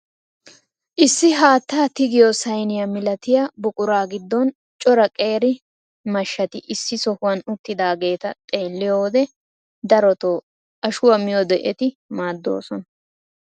Issi haattaa tigiyoo sayniyaa milatiyaa buquraa giddon cora qeeri mahshati issi sohuwaan uttidaageta xeelliyoo wode darotoo ashshuwaa miiyode eti maaddoosona.